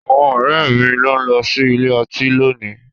Àwọn ọ̀rẹ́ mi ló ń lọ sí ilé ọtí lónìí.